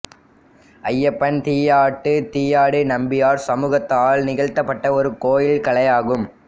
அய்யப்பன் தீயாட்டு தீயாடி நம்பியார் சமூகத்தால் நிகழ்த்தப்பட்ட ஒரு கோயில் கலையாகும்